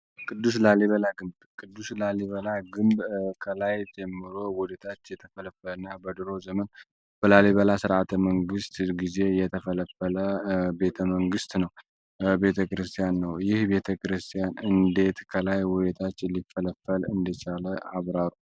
ቅዱስ ላሊበላ ቅዱስ ላሊበላ ግንብ በከላይ ጀምሮ ወደ ታች የተፈለፈለ በድሮ ዘመን በላሊበላ ስርዓተ መንግስት የተፈለፈል ቤተመንግስት ነው። የቤተ ክርስቲያን እንዴት ከላይ አብራት ከላይ ወደ ታች እንደ ቻለ አብራሩ።